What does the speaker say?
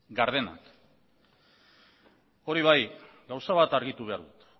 gardenak hori bai gauza bat argitu behar dut